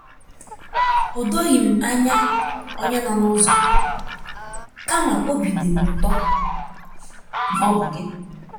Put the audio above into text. O doghị m anya onye nọ n'ụzọ, kama óbị dị m ụtọ na ọ bụ gị.